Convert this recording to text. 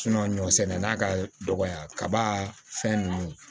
ɲɔsɛnɛ na ka dɔgɔya kaba fɛn nunnu